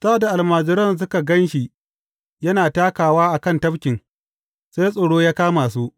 Sa’ad da almajiran suka gan shi yana takawa a kan tafkin, sai tsoro ya kama su.